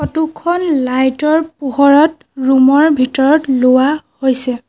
Photo খন light ৰ পোহৰত ৰুম ৰ ভিতৰত লোৱা হৈছে।